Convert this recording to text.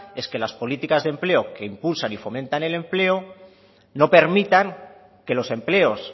es que las políticas de empleo que impulsan y fomentan el empleo no permitan que los empleos